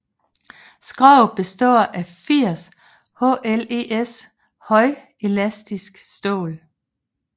Skroget består af 80 HLES højelastisk stål